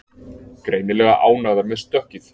Greinilega ánægðar með stökkið